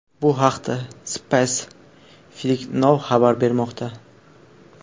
Bu haqda Spaceflightnow xabar bermoqda .